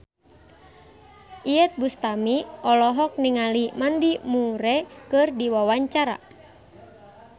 Iyeth Bustami olohok ningali Mandy Moore keur diwawancara